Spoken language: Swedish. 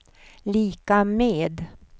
lika med